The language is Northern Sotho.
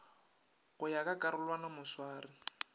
go ya ka karolwana moswari